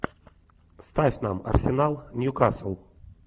ставь нам арсенал ньюкасл